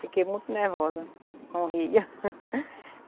Fiquei muito nervosa com o Rio.